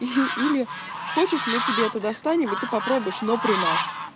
и или хочешь мы тебе это достанем и ты попробуешь но при нас